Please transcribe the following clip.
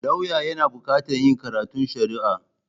Lauya yana buƙatar yin karatun Shari'a.